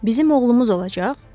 Bizim oğlumuz olacaq?